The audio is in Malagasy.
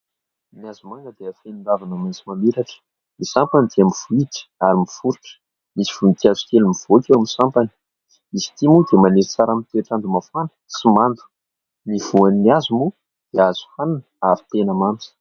Ny hazomanga dia feno ravina maitso mamiratra. Ny sampany dia mivohitra ary miforitra, misy voninkazo kely mivoaka eo amin'ny sampany. Izy ity moa dia maniry tsara amin'ny toetrandro mafana sy mando. Ny voany hazo moa dia azo hohanina ary tena mamy.